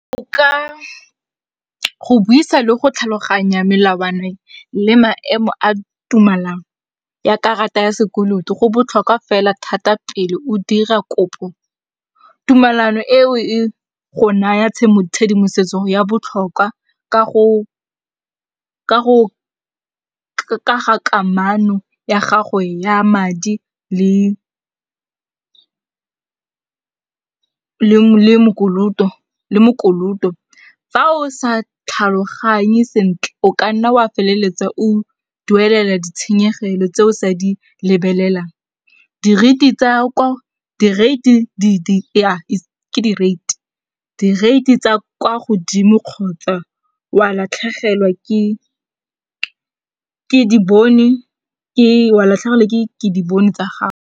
Ka go buisa le go tlhaloganya melawana le maemo a tumalano ya karata ya sekoloto go botlhokwa fela thata pele o dira kopo. Tumalano eo e go naya ditshedimosetso ya botlhokwa ka ga kamano ya gago ya madi le le mokoloto. Fa o sa tlhaloganye sentle, o kanna wa feleletsa o duelela ditshenyegelo tseo o sa di lebelelang. Di-rate tsa kwa godimo kgotsa wa latlhegelwa ke dibone tsa gago.